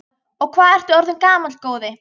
Og hvað ertu orðinn gamall, góði?